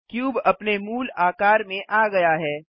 cube अपने मूल आकार में आ गया है